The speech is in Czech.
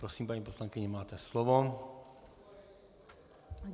Prosím, paní poslankyně, máte slovo.